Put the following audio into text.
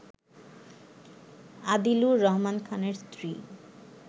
আদিলুর রহমান খানের স্ত্রী